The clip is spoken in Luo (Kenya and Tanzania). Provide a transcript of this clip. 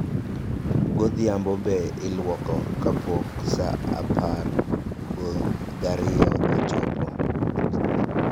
Godhiambo be iluoke kapok saa apar gariyo ochopo